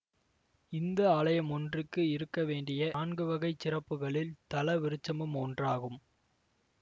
இந்து ஆலயம் ஒன்றுக்கு இருக்க வேண்டிய நான்கு வகை சிறப்புகளில் தலவிருட்சமும் ஒன்றாகும்